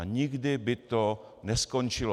A nikdy by to neskončilo.